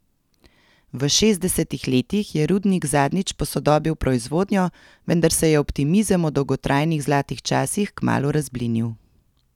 V šestdesetih letih je rudnik zadnjič posodobil proizvodnjo, vendar se je optimizem o dolgotrajnih zlatih časih kmalu razblinil.